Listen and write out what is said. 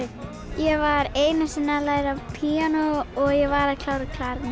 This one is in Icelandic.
ég var einu sinni að læra á píanó og ég var að klára